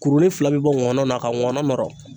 Kurunin fila bi bɔ ŋɔnɔ na ka ŋɔnɔ nɔrɔ.